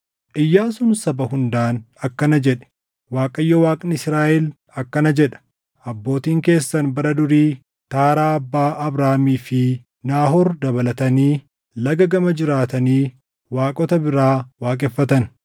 Iyyaasuun saba hundaan akkana jedhe; “ Waaqayyo Waaqni Israaʼel akkana jedha: ‘Abbootiin keessan bara durii, Taaraa abbaa Abrahaamii fi Naahoor dabalatanii Laga gama jiraatanii waaqota biraa waaqeffatan.